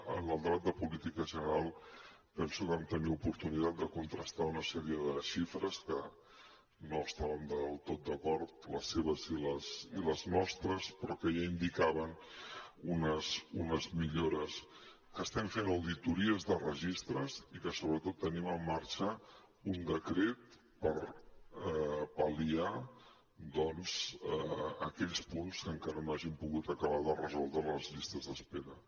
en el debat de política general penso que vam tenir oportunitat de contrastar una sèrie de xifres que no estàvem del tot d’acord les seves i les nostres però que ja indicaven unes millores que estem fent auditories de registres i que sobretot tenim en marxa un decret per pal·liar aquells punts que encara no hagin pogut acabar de resoldre les llistes d’espera